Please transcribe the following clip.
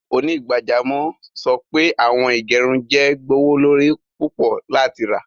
Onígbàjàmọ̀ sọ pé awọn ìgẹ̀rùn jẹ́ gbọwọlorí púpọ̀ láti rá.